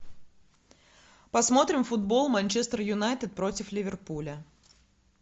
посмотрим футбол манчестер юнайтед против ливерпуля